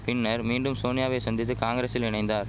பின்னர் மீண்டும் சோனியாவை சந்தித்து காங்கிரசில் இணைந்தார்